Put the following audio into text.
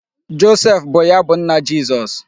Joseph bụ ya bụ nna Jizọs.